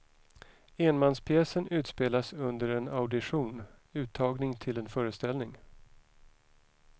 Enmanspjäsen utspelas under en audition, uttagning till en föreställning.